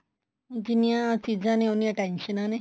ਜਿੰਨੀਆ ਚੀਜ਼ਾਂ ਨੇ ਉੰਨੀਆਂ ਟੈਨਸ਼ਨਾ ਨੇ